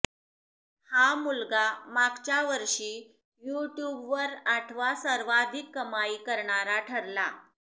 हा मुलगा मागच्या वर्षी यूट्यूबवर आठवा सर्वाधिक कमाई करणारा ठरला